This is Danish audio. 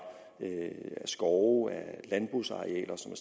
af skove af landbrugsarealer som